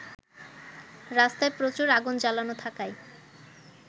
রাস্তায় প্রচুর আগুন জ্বালানো থাকায়